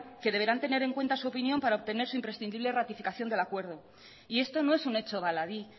que deberán tener en cuenta su opinión para obtener su imprescindible ratificación del acuerdo y esto no es un hecho baladí